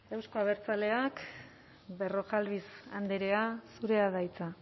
euzko abertzaleak berrojalbiz andrea zurea da hitza